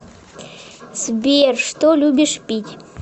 сбер что любишь пить